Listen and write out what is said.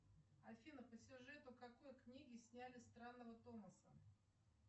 афина по сюжету какой книги сняли странного томаса